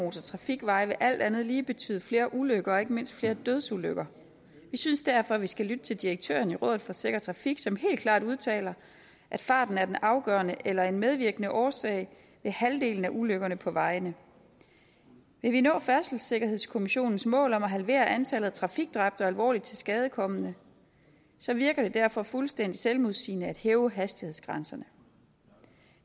og motortrafikveje vil alt andet lige betyde flere ulykker og ikke mindst flere dødsulykker vi synes derfor at vi skal lytte til direktøren i rådet for sikker trafik som helt klart udtaler at farten er den afgørende eller en medvirkende årsag ved halvdelen af ulykkerne på vejene vil vi nå færdselssikkerhedskommissionens mål om at halvere antallet af trafikdræbte og alvorligt tilskadekomne så virker det derfor fuldstændig selvmodsigende at hæve hastighedsgrænserne